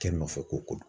Kɛ n nɔfɛ ko don